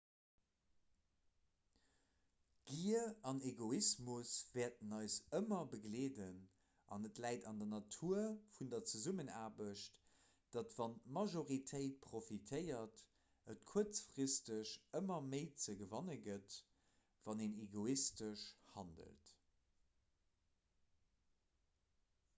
gier an egoismus wäerten eis ëmmer begleeden an et läit an der natur vun der zesummenaarbecht datt wann d'majortéit profitéiert et kuerzfristeg ëmmer méi ze gewanne gëtt wann een egoistesch handelt